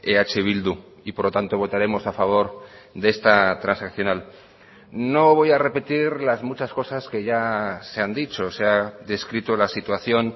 eh bildu y por lo tanto votaremos a favor de esta transaccional no voy a repetir las muchas cosas que ya se han dicho se ha descrito la situación